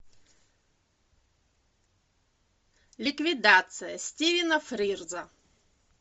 ликвидация стивена фрирза